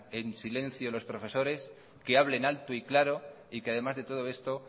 en silencio los profesores que hablen alto y claro y que además de todo esto